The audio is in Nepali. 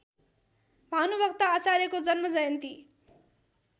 भानुभक्त आचार्यको जन्मजयन्ती